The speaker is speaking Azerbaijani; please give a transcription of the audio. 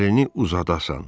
Əlini uzadasan.